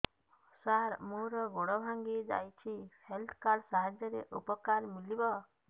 ସାର ମୋର ଗୋଡ଼ ଭାଙ୍ଗି ଯାଇଛି ହେଲ୍ଥ କାର୍ଡ ସାହାଯ୍ୟରେ ଉପକାର ମିଳିବ